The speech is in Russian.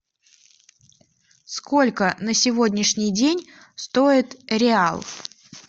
сколько на сегодняшний день стоит реал